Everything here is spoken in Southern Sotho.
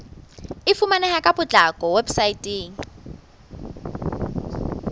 e fumaneha ka potlako weposaeteng